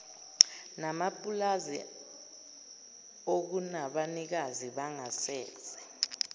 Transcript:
namapulazi okunabanikazi bangasese